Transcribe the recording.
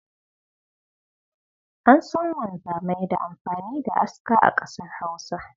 An san wanzamai da amfani da aska a kasar Hausa